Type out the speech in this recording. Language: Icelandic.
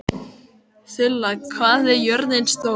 Þula, hvað er jörðin stór?